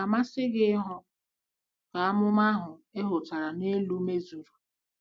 Ọ̀ ga-amasị gị ịhụ ka amụma ahụ e hotara n'elu mezuru?